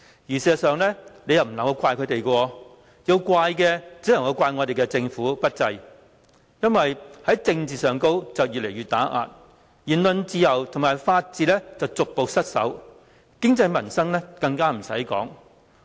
事實上，不能怪他們，要怪只可以怪政府不濟，政治打壓越來越嚴重，言論自由及法治逐步失守，經濟民生更不用說。